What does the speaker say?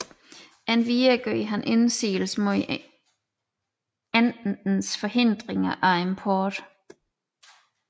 Endvidere gjorde man indsigelse mod Ententens forhindringer af importen